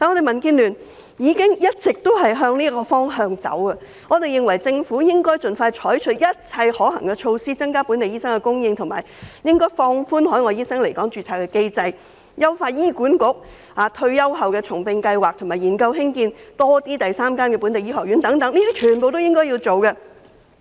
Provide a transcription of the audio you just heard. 民建聯一直也是朝着這方向前進，我們認為政府應盡快採取一切可行的措施，以增加本地醫生的供應，例如放寬海外醫生來港註冊的機制、優化醫管局重聘退休員工的計劃，以及研究興建第三間本地醫學院等，這些全部都是政府應該做的事。